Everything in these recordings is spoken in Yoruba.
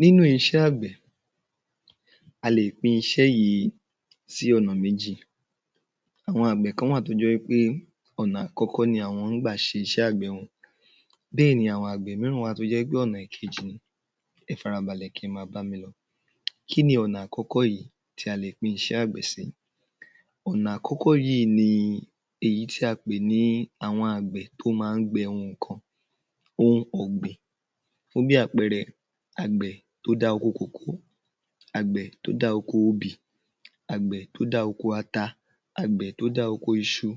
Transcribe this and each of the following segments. Nínú isé àgbẹ̀, a lè pín iṣé yìí sí ọ̀nà méjì. Àwon àgbẹ̀ kan wà tó jé wí pé ọ̀nà àkọ́kọ́ ni àwọn ń gbà ṣe iṣé àgbẹ̀ wọn. Bẹ́ẹ̀ ni àwọn àgbẹ̀ míràn wà tó jẹ́́ pé ònà ìkejì ni. Ẹ fara balẹ̀, kẹ máa bámi lọ. Kínni ọ̀nà akọ́kọ́ yìí ta le pín iṣẹ́ àgbẹ̀ si? Ọ̀nà akọ́kọ́ yìí ni èyí tí a pè ní àwọn àgbẹ̀ tó má ń gbẹ̀ ohun kan. Ohun ọ̀gbìn, fún bí àpẹẹrẹ àgbẹ̀ tó dá oko kòko, àgbẹ̀ tó dá oko obì, àgbẹ̀ tó dá oko ata, àgbẹ̀ tó dá oko iṣu,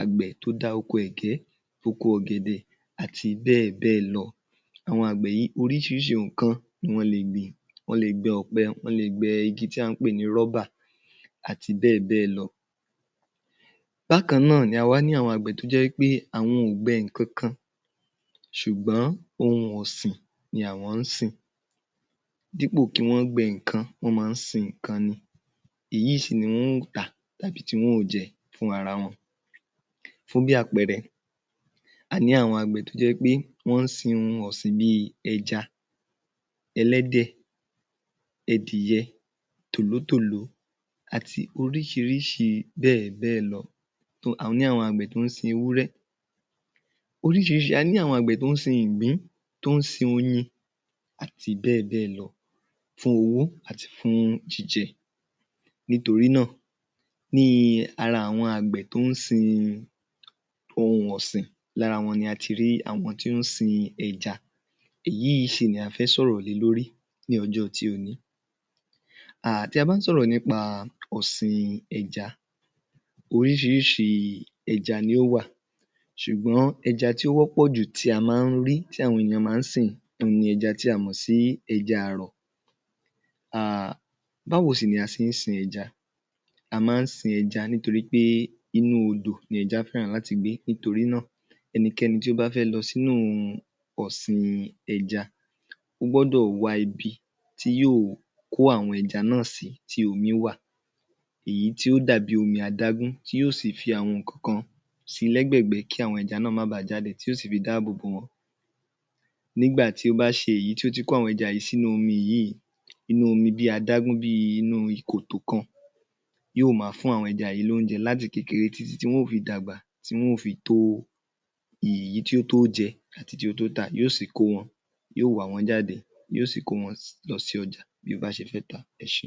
àgbẹ̀ tó dá oko ẹ̀gẹ́, oko ògẹ̀dẹ̀ àti bẹ́ẹ̀ bẹ́ẹ̀ lọ. Àwọn àgbẹ̀ yìí, oríṣiiríṣii ohun kan ni wọ́n lè gbìn. Wọ́n le gbẹ ọ̀pẹ, wọn le gbin igi tí à ń pè ní (rubber) àti bẹ́ẹ̀ bẹ́ẹ̀ lọ. Bákan náà ni a wá ní àwọn àgbẹ̀ tó jẹ́ wí pé àwọn ò gbe ǹkankan ṣùgbón ohun ọ̀sìn ni àwọn ń sìn. Dípò kí wọ́n gbẹ nǹkan, àwọn ń sin nǹkan ni, èyí sì ni wọ́n ó tà tàbí tì wọ́n ó jẹ fúnra wọn. Fún bí àpẹẹrẹ, a ní àwọn àgbẹ̀ tó jẹ́ wí pé wọ́n ń sin ohun ọ̀sìn bí i ẹja, ẹlẹ́dẹ̀, ẹdìyẹ, tòlótòló àti oríṣiríṣi bẹ́ẹ̀ bẹ́ẹ̀ lọ. A ní àwọn àgbẹ̀ ọ́sín tó ń sin ewúrẹ́ oríṣiríṣi, a ní àwọn àgbẹ̀ tó ń sin igbín, tó ń sin oyin, ati bẹ́ẹ̀ bẹ́ẹ̀ lọ fún owó àti fún jíjẹ. Nítorí náà, ní ara àwọn àgbẹ̀ tó ń sin ohun ọ̀sìn, lára wọn ni a ti rí àwọn tí ó ń sin ẹja. Èyí sì ni a fẹ́ sọ̀rọ̀ lé lórí ní ọjọ́ ti òní. um Tí a bá ń sọ̀rọ̀ nípa ọ̀sìn ẹja, oríṣiríṣi ẹja ni ó wà ṣùgbọ́n ẹja tí ó wọ́pọ̀ jù tí a má ń rí, tí àwọn ènìyàn má ń sin ni ẹja tí a mò sí ẹja àrọ̀. um Báwo sì ni a ṣe ń sin ẹja? A má ń sin ẹja nítorí pé inú odò ni ẹja fẹ́ràn láti gbé torí náà ẹnikẹ́ni tó bá fẹ́ lọ sínú ọ̀sìn ẹja, ó gbọ́dọ̀ wá ibi tí yóó kó àwọn ẹja náa sí tí omi wà, èyí tí yó dàbí omi adágún tí yóó sì fi àwọn nǹkankan si i lẹ́gbẹ̀gbẹ́ kí àwọn ẹja náà má báa jáde, tí yóó sì fi dá àbò bò wọ́n. Nígbà tí ó bá ṣe èyí tó ti kó àwọn ẹja yìí sínú omi yìí inú omi bí i omi adágún, nínú ikòtò kan, yóó máa fún àwọn ẹja yìí l’óúnjẹ láti kékeré tí tí tí wọ́n ó fi dàgbà tí wọ́n ó fi tó èyí tí ó tó jẹ àti tí ó tó tà. Yóó sì kó wọn, yóó wà wọ́n jáde, yóó sì kó wọn lọ sí ọjà bí ó bá ṣe fẹ́ tà á. Ẹ ṣé.